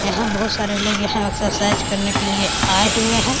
यहां बहुत सारे लोग यहां एक्सरसाइज करने के लिए आए हुए हैं।